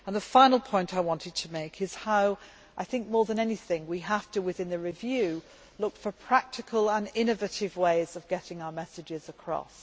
The final point I want to make is how I think that, more than anything, we have to look, within the review, for practical and innovative ways of getting our messages across.